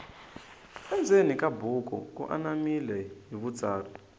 endzeni ka buku ku anamile hi vutsari